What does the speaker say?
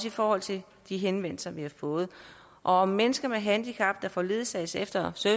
i forhold til de henvendelser vi har fået og om mennesker med handicap der får ledsagelse efter